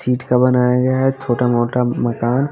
ठिठ का बनाया गया है छोटा मोटा मकान--